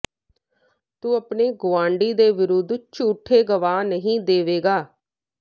ਤੂੰ ਆਪਣੇ ਗੁਆਂਢੀ ਦੇ ਵਿਰੁੱਧ ਝੂਠੇ ਗਵਾਹ ਨਹੀਂ ਦੇਵੇਂਗਾ